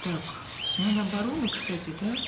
так с мин обороны кстати да